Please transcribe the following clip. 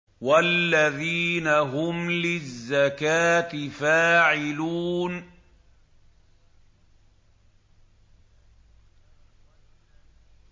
وَالَّذِينَ هُمْ لِلزَّكَاةِ فَاعِلُونَ